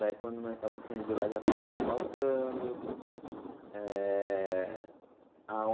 Daí, quando nós estávamos saindo de lá, já estava asfaltando. Eh a